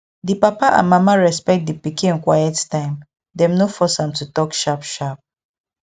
di papa and mama respect di pikin quiet time dem no force am to talk sharp sharp